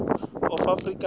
of afrikaans and